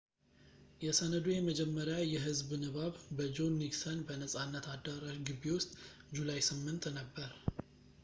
የሰነዱ የመጀመሪያ የህዝብ ንባብ በጆን ኒክሰን በነጻነት አዳራሽ ግቢ ውስጥ ጁላይ 8 ነበር